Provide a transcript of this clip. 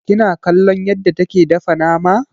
Kina kallon yadda take dafa nama?